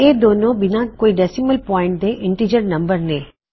ਇਹ ਦੋਨੋ ਬਿਨਾ ਕੋਈ ਡੈੱਸਿਮਲ ਪੌਇਨਟ ਦੇ ਇਨਟੀਜਰ ਨੰਬਰਜ਼ ਨੇ